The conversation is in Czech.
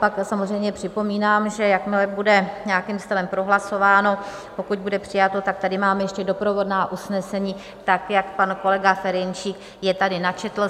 Pak samozřejmě připomínám, že jakmile bude nějakým stylem prohlasováno, pokud bude přijato, tak tady mám ještě doprovodná usnesení tak, jak pan kolega Ferjenčík je tady načetl.